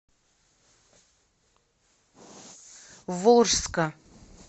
волжска